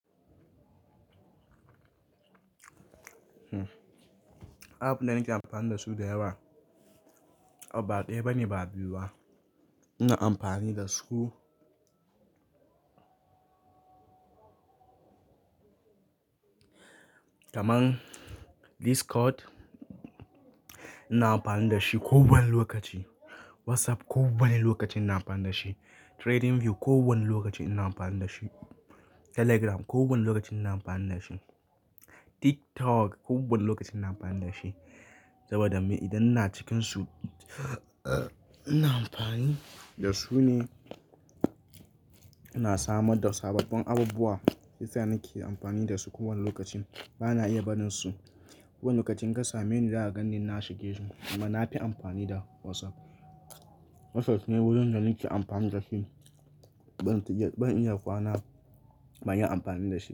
App da nake amfani da su da yawa ba ɗaya ba ne ba biyu ba. Ina amfani da su kamar Discord ina amfani da shi kowane lokaci. WhatsApp kowane lokaci ina amfani da shi. TradingView kowane lokaci ina amfani da shi. Telegram kowane lokaci ina amfani da shi. TikTok kowane lokaci ina amfani da shi. Saboda me? Idan ina cikin su, ina amfani da su ne ina samar da sababbin abubuwa. Shi yasa nake amfani da su kowane lokaci. Bana iya barin su. Kowane lokacin inka same ni, za ka gan ni na shige shi amma na fi amfani da WhatsApp. WhatsApp ne wurin da nake amfani da shi. Ban iya kwana ban yi amfani da shi.